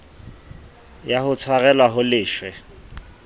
ya ho tshwarelwa ho leswe